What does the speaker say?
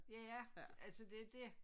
Ja altså det dét